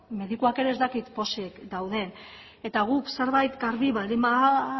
medikuak ez dakit pozik dauden eta guk zerbait garbi baldin